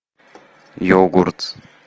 йогурт